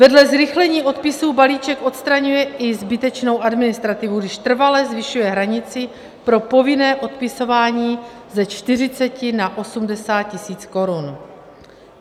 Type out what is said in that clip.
Vedle zrychlení odpisů balíček odstraňuje i zbytečnou administrativu, když trvale zvyšuje hranici pro povinné odpisování ze 40 na 80 tisíc korun.